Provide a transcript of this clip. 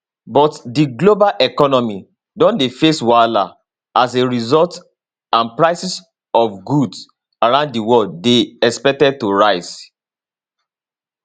but di global economy don dey face wahala as a result and prices od goods around di world dey expected to rise